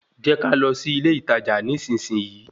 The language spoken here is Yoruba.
Jẹ́ ká lọ sí ilé ìtajà nísinsìnyí